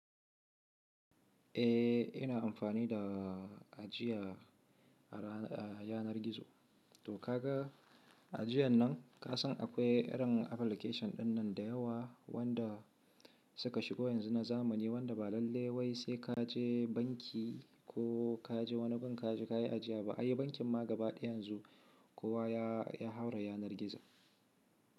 Eh, ina amfani da ajiya a yanar gizo. To ka ga ajiyan nan ka san akwai irin application ɗin nan da yawa wanda suka shigo yanzu na zamani wanda ba lalle wai sai ka je banki ko ka je wani gun ka je ka yi ajiya ba. Ai bankin ma gaba ɗaya yanzu kowa ya haura yanar gizo.